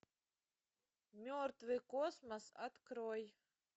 мертвый космос открой